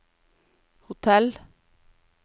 hotell